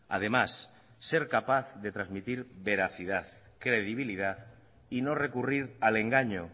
además ser capaz de transmitir veracidad credibilidad y no recurrir al engaño